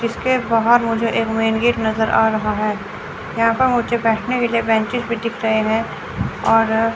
इसके बाहर मुझे एक मेन गेट नजर आ रहा है यहां पर मुझे बैठने के लिए बेंचेस भी दिख रहे हैं और--